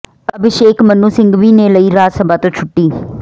ਅਭਿਸ਼ੇਕ ਮਨੂੰ ਸਿੰਘਵੀ ਨੇ ਲਈ ਰਾਜ ਸਭਾ ਤੋਂ ਛੁੱਟੀ